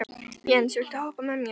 Jens, viltu hoppa með mér?